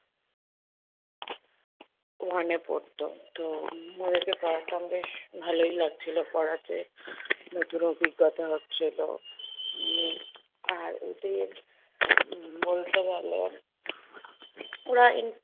one এ পড়তো তো উম ওদেরকে পড়াতাম বেশ ভালোই লাগছিলো পড়াতে নতুন অভিজ্ঞতা হচ্ছিলো। উম আর ওদের বলতে গেলে ওরা